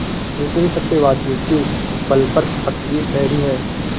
ऐसे ही सत्यवादियों के बल पर पृथ्वी ठहरी है